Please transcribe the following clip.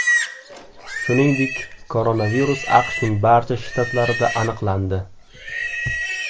Shuningdek, koronavirus AQShning barcha shtatlarida aniqlandi.